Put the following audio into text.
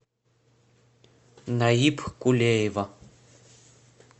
наиб кулеева